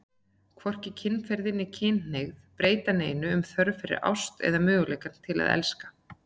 Hvorki kynferði né kynhneigð breyta neinu um þörf fyrir ást eða möguleikann til að elska.